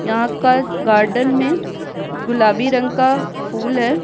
यहाँ का गार्डन में गुलाबी रंग का फूल है।